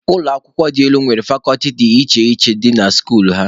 Ụlọ akwụkwọ dị elu nwere fakọlti dị iche iche dị na skuulu ha.